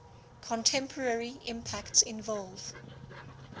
contemporary impacts involve